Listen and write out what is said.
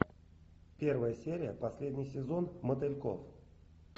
первая серия последний сезон мотыльков